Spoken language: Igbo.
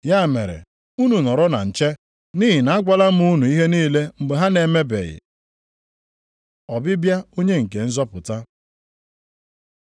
Ya mere, unu nọrọ na nche; nʼihi na agwala m unu ihe niile mgbe ha na-emebeghị. Ọbịbịa Onye nke nzọpụta